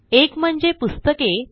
एक म्हणजे पुस्तके